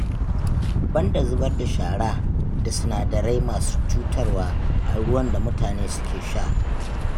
Banda zubar da shara da sinadarai masu cutarwa a ruwan da mutane suke sha